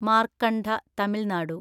മാർക്കണ്ഡ തമിൽ നാടു